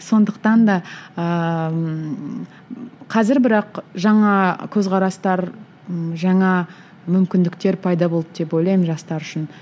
сондықтан да ыыы қазір бірақ жаңа көзқарастар ммм жаңа мүмкіндіктер пайда болды деп ойлаймын жастар үшін